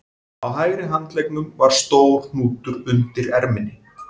Á hægri handleggnum var stór hnútur undir erminni